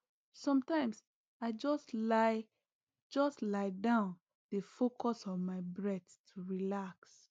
ah sometimes i just lie just lie down dey focus on my breath to relax